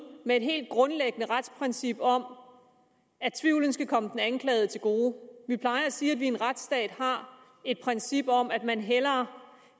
med et helt grundlæggende retsprincip om at tvivlen skal komme den anklagede til gode vi plejer at sige at vi i en retsstat har et princip om at man hellere